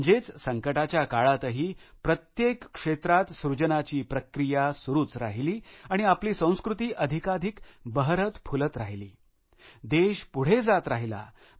म्हणजेच संकटाच्या काळातही प्रत्येक क्षेत्रात सृजनाची प्रक्रिया सुरूच राहिली आणि आपली संस्कृती अधिकाधिक बहरतफुलत राहिली देश पुढे जात गेला